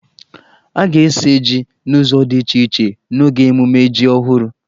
A ga-esi jí n'ụzọ di iche iche n'oge mmemme jí ọhụrụ.